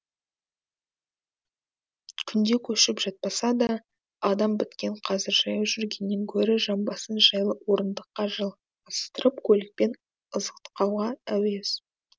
күнде көшіп жатпаса да адам біткен қазір жаяу жүргеннен гөрі жамбасын жайлы орындыққа жайғастырып көлікпен ызғытқанға әуес